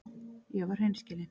Ég var hreinskilin.